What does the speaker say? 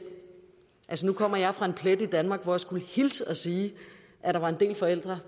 nu kommer jeg fra en plet i danmark hvor jeg skulle hilse og sige at der var en del forældre